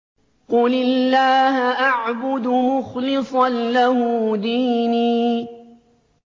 قُلِ اللَّهَ أَعْبُدُ مُخْلِصًا لَّهُ دِينِي